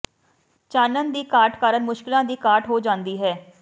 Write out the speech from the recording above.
ਚਾਨਣ ਦੀ ਘਾਟ ਕਾਰਨ ਮੁਸ਼ਕਲਾਂ ਦੀ ਘਾਟ ਹੋ ਜਾਂਦੀ ਹੈ